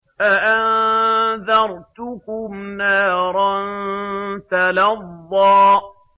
فَأَنذَرْتُكُمْ نَارًا تَلَظَّىٰ